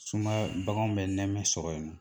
Sumaya baganw bɛ nɛmɛ sɔrɔ yen na.